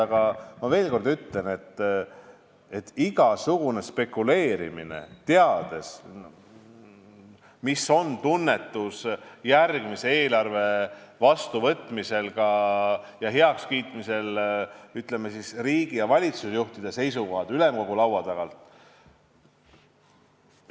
Aga ma veel kord ütlen, see on spekuleerimine, teades, milline on tunnetus järgmise eelarve vastuvõtmisel riigi- ja valitsusjuhtide seisukohalt, ülemkogu laua taga.